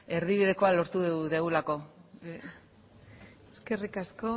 erdibidekoa lortu dugulako eskerrik asko